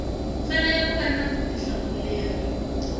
fanele ku va na vutihlamuleri